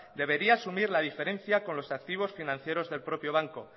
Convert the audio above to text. debería asumir la diferencia con los activos financieros del propio banco